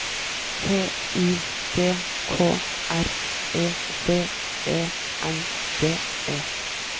T I D K R E V E N D E